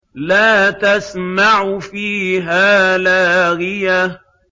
لَّا تَسْمَعُ فِيهَا لَاغِيَةً